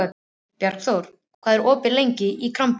Bjargþór, hvað er opið lengi í Krambúðinni?